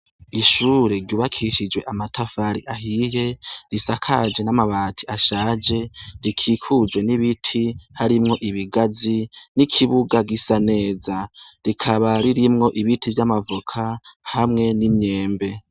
Ishure ryubakishije amatafari ahiye risakaje n' amabati ashaje rikikujwe n' ibiti harimwo ibigazi n' ikibuga gisa neza rikaba ririmwo ibiti vy' amavoka hamwe n' imyembe.